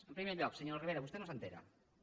en primer lloc senyora ribera vostè no se n’assabenta